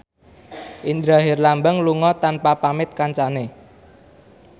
Indra Herlambang lunga tanpa pamit kancane